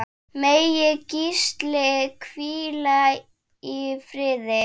Megi Gísli hvíla í friði.